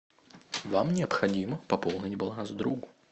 вам необходимо пополнить баланс другу